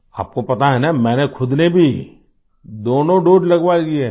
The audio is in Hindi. आपको पता है न मैंने खुद ने भी दोनों दोसे लगवा लिए हैं